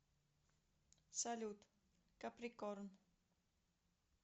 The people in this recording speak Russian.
салют каприкорн